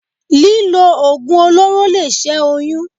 Lílo Oògùn olóró lè ṣẹ́ oyún.